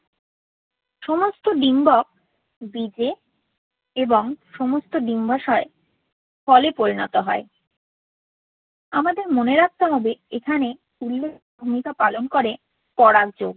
সমস্ত ডিম্বক বীজে এবং সমস্ত ডিম্বাশয় ফলে পরিণত হয়। আমাদের মনে রাখতে হবে এখানে উল্লেখযোগ্য ভূমিকা পালন করে পরাগ যোগ।